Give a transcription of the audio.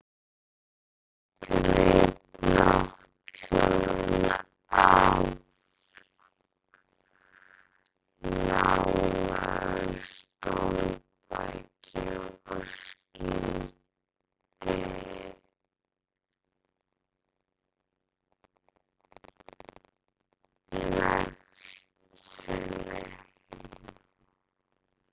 Greip náttkjólinn af nálægu stólbaki og skýldi nekt sinni.